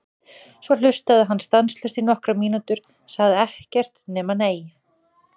Svo hlustaði hann stanslaust í nokkrar mínútur, sagði ekkert nema: Nei!